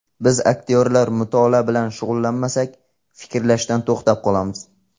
Biz aktyorlar mutolaa bilan shug‘ullanmasak, fikrlashdan to‘xtab qolamiz.